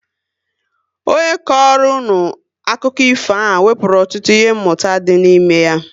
Ọ nye kọrọ unu akụkọ ifo ahụ wepụrụ ọtụtụ ihe mụta dị n'ime ya